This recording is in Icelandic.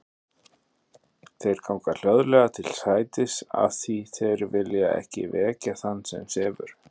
Þeir ganga hljóðlega til sætis af því þeir vilja ekki vekja þann sem sefur.